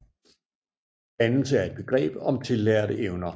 Dannelse er et begreb om tillærte evner